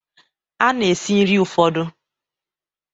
A na-esi nri ụfọdụ